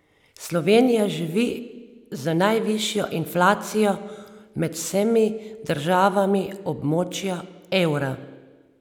Slovenija živi z najvišjo inflacijo med vsemi državami območja evra.